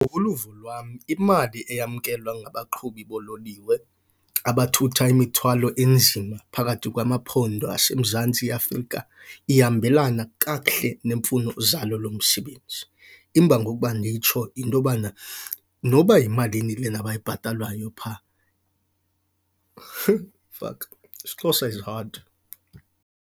Ngokoluvo lwam imali eyamkelwa ngabaqhubi boololiwe abathutha imithwalo enzima phakathi kwamaphondo aseMzantsi Afrika ihambelana kakuhle neemfuno zalo lo msebenzi. Imbangi okuba nditsho yinto yobana noba yimalini lena bayibhatalwayo pha, fuck isiXhosa is hard.